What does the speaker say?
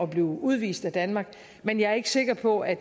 blive udvist af danmark men jeg er ikke sikker på at